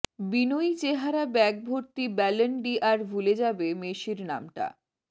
বিনয়ী চেহারা ব্যাগ ভর্তি ব্যলন ডি আর ভুলে যাবে মেসির নামটা